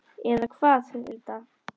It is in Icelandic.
Eða hvað, Hulda?